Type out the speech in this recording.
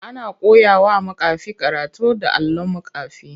Ana koyawa makafi karatu da allon makafi.